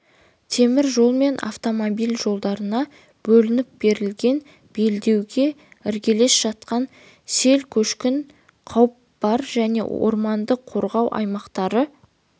темір жол мен автомобиль жолдарына бөлініп берілген белдеуге іргелес жатқан сел-көшкін қауіп бар және орманды қорғау аймақтары